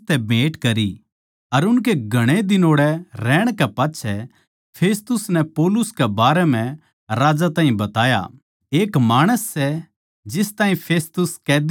उनकै घणे दिन ओड़ै रहण कै पाच्छै फेस्तुस नै पौलुस कै बारै म्ह राजा ताहीं बताया एक माणस सै जिस ताहीं फेलिक्स कैदी छोड़ग्या सै